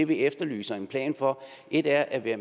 vi efterlyser en plan for et er at at